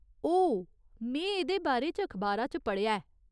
ओह्, में एह्दे बारे च अखबारा च पढ़ेआ ऐ।